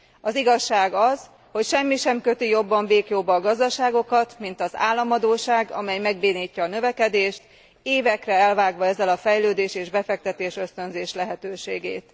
Az igazság az, hogy semmi sem köti jobban béklyóba a gazdaságokat, mint az államadósság, amely megbénítja a növekedést, évekre elvágva ezzel a fejlődés és befektetésösztönzés lehetőségét.